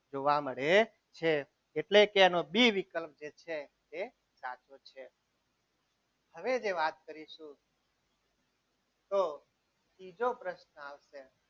જોવા મળે છે એટલે કે એનો ડી વિકલ્પ જે છે તે સાચો છે હવે જે વાત કરીશું તો ત્રીજો પ્રશ્ન આવશે જો પ્રશ્ન જે છે એને અહીં વાત દર્શાવેલી છે.